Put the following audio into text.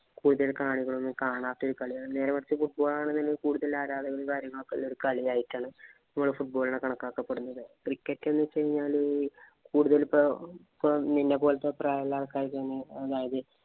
കൂടുതല്‍ കാണികള്‍ ഒന്നും കാണാത്ത ഒരു കളിയാണ്. നേരെമറിച്ച്, football ആണെന്നുണ്ടെങ്കില്‍ കൂടുതല്‍ ആരാധകരും, കാര്യങ്ങളും ഉള്ള ഒരു കളിയായിട്ടാണ് നമ്മള് football ഇനെ കണക്കാക്കുന്നത്. Cricket എന്ന് വച്ച് കഴിഞ്ഞാല് കൂടുതല്‍ നിന്നെപോലത്തെ പ്രായമുള്ള ആള്‍ക്കാര് കളിക്കുന്നതാണ്. അതായത്,